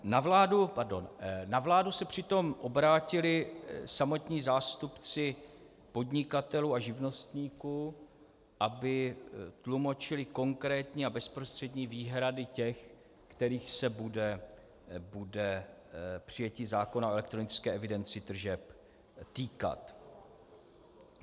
Na vládu se přitom obrátili samotní zástupci podnikatelů a živnostníků, aby tlumočili konkrétní a bezprostřední výhrady těch, kterých se bude přijetí zákona o elektronické evidenci tržeb týkat.